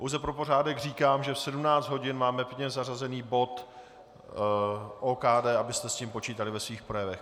Pouze pro pořádek říkám, že v 17 hodin máme pevně zařazený bod OKD, abyste s tím počítali ve svým projevech.